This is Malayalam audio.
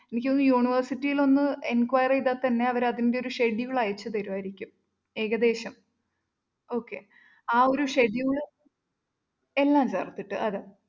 എനിക്ക് തോന്നുന്നു university ലൊന്ന് enquire ചെയ്‌താല്‍ തന്നെ അവര്‍ അതിന്റെയൊരു schedule അയച്ചു തരുമായിരിക്കും. ഏകദേശം okay ആ ഒരു schedule എന്നല്ല